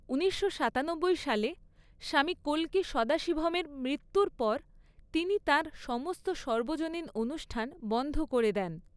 ঊনিশশো সাতানব্বই সালে, স্বামী কল্কি সদাশিভমের মৃত্যুর পর তিনি তাঁর সমস্ত সর্বজনীন অনুষ্ঠান বন্ধ করে দেন।